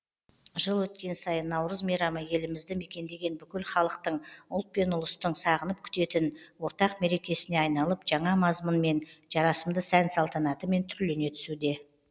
жыл өткен сайын наурыз мейрамы елімізді мекендеген бүкіл халықтың ұлт пен ұлыстың сағынып күтетін ортақ мерекесіне айналып жаңа мазмұнмен жарасымды сән салтанатымен түрлене түсуде